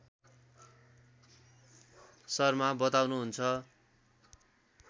शर्मा बताउनुहुन्छ